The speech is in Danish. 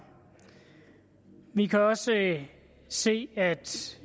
vi kan også se at